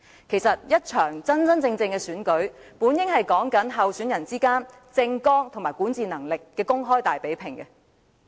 其實，一場真正的選舉本應是候選人之間的政綱和管治能力的公開大比併。